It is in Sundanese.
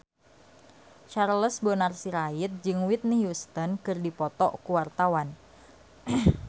Charles Bonar Sirait jeung Whitney Houston keur dipoto ku wartawan